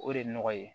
O de ye nɔgɔ ye